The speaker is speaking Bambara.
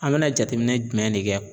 An bena jateminɛ jumɛn ne kɛ